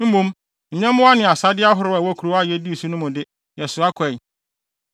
Mmom, nyɛmmoa ne asade ahorow a ɛwɔ nkurow a yedii so no mu no de, yɛsoa kɔe.